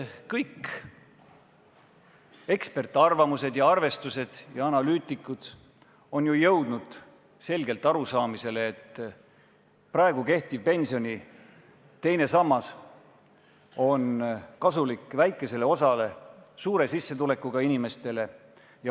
Kõik eksperdiarvamused, arvestused ja analüütikud on jõudnud selgelt arusaamisele, et praegune pensioni teine sammas on kasulik väikesele osale inimestele, neile, kelle sissetulek on suur.